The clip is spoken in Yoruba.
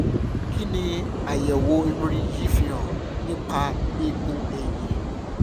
kí ni àyẹ̀wò mri yìí fi hàn nípa eegun ẹ̀yìn?